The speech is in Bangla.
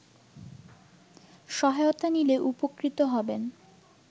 সহায়তা নিলে উপকৃত হবেন